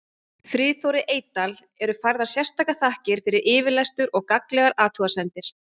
Friðþóri Eydal eru færðar sérstakar þakkir fyrir yfirlestur og gagnlegar athugasemdir.